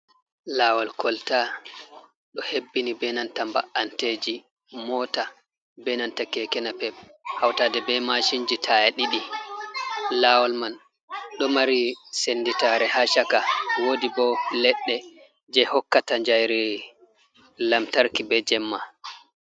Lawol kolta ɗo hebbini be nanta ba’anteji mota, be nanta kekena pep, hautade be mashinji taya ɗiɗi, lawol man ɗo mari senditare ha shaka, wodi bo leɗɗe je hokkata jayreyi lamtarki be jemma.